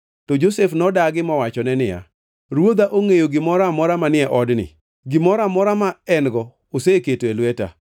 To Josef nodagi mowachone niya, “Ruodha ongʼeyo gimoro amora manie odni, gimoro amora ma en-go oseketo e lweta.